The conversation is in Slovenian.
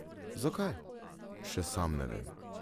Zakaj, še sam ne vem.